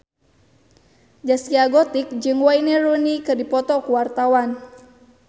Zaskia Gotik jeung Wayne Rooney keur dipoto ku wartawan